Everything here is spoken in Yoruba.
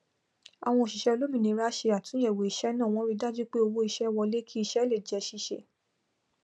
àwọn òsíṣẹ olómìnira se àtúnyẹwò iṣẹ náà wọn rí dajú pé owó ísẹ wọlé kí ísẹ lè jẹ síse